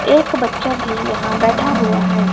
एक बच्चा भी यहां बैठा हुआ है।